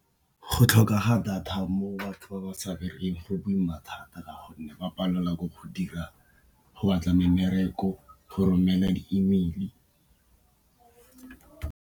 Go tlhoka data mo batho ba ba sa berekeng go boima thata ka gonne ba palelwa ke go dira, go batla mmereko, go romela di email-i.